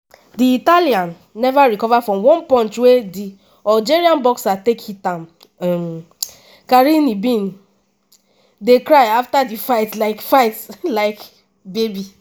di italian neva recover from one punch wey di algerian boxer take hit am um carini bin dey cry afta di fight like fight like baby.